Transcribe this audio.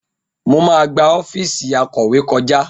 Mo máa gba ọ́fíìsì akọ̀wé kọjá